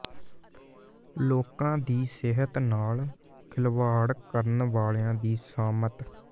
ਲੋਕਾਂ ਦੀ ਸਿਹਤ ਨਾਲ ਖਿਲਵਾੜ ਕਰਨ ਵਾਲਿਆਂ ਦੀ ਸ਼ਾਮਤ